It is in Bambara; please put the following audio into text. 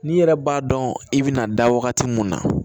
N'i yɛrɛ b'a dɔn i bɛna da wagati mun na